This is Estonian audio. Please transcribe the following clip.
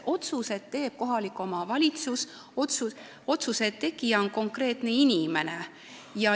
Otsuse teeb kohalik omavalitsus, otsuse tegija on konkreetne inimene.